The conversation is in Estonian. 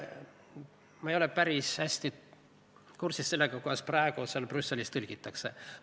Ma ei ole päris hästi kursis sellega, kuidas praegu Brüsselis tõlgitakse.